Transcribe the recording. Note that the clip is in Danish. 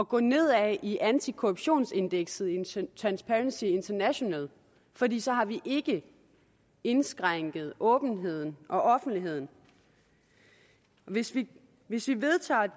gå nedad i antikorruptionsindekset i transparency international fordi så har vi ikke indskrænket åbenheden og offentligheden hvis vi hvis vi vedtager